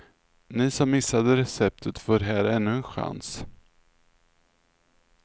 Ni som missade receptet får här ännu en chans.